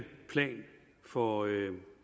plan for at